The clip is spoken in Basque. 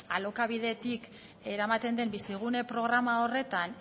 ba beno alokabidetik eramaten den bizigune programa horretan